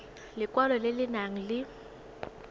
lekwalo le le nang le